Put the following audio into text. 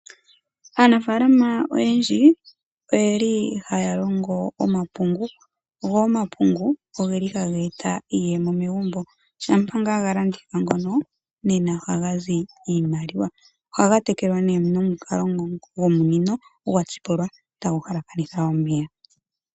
Aanafalama oyendji oyeli ha ya longo omapungu. Nongele omapungu ga landithwa oha ga eta iiyemo megumbo, noha ga tekelwa nomukalo gomunino gwatsipulwa ta gu hala kanitha omeya.